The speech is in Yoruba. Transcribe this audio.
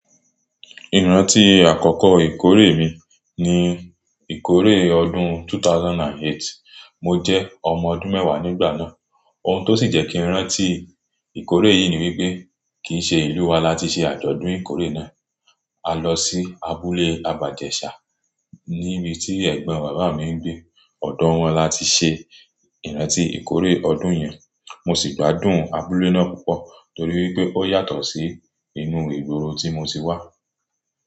Ìrántí àkọ́kọ́ ìkórè mi ni ìkórè ọdún 2008. Mo jẹ́ ọmọ ọdún mẹ́wàá nígbà náà. Ohun tó sì jẹ́ kí n rántí ìkórè yìí ni wípé kì í ṣe ìlú wa láti ṣe ìkórè náà. A lọ sí abúlé Àbájẹ́ṣà níbi tí ẹ̀gbọ́n bàbá mi ń gbé. Ọ̀dọ̀ wọn láti ṣe ìrántí ìkórè ọdún yẹn. Mo sì gbádùn abúlé náà púpọ̀ torí wípé ó yàtọ̀ sí inú ìgboro tí mo ti wà.